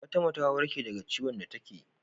Fatima ta warke da ka ciwon da take